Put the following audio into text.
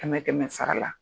Kɛmɛ kɛmɛ sara la.